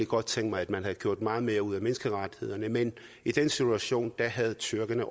godt tænke mig at man havde gjort meget mere ud af menneskerettighederne men i den situation havde tyrkerne